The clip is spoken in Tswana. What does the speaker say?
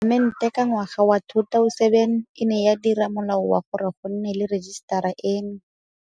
Palamente ka ngwaga wa 2007 e ne ya dira Molao wa gore go nne le rejisetara eno.